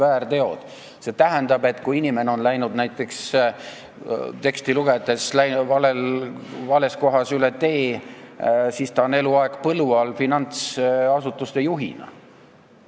Seda teksti lugedes selgub, et kui inimene on läinud näiteks vales kohas üle tee, siis finantsasutuse juhina on ta eluaeg põlu all.